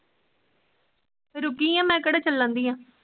ਰੁਕੀ ਆ ਮੈ ਕਿਹੜਾ ਚੱਲਣ ਡੀਆ?